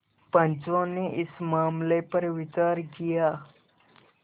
पंचो ने इस मामले पर विचार किया